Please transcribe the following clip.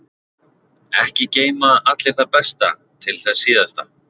Ekki geyma allir það besta til þess síðasta.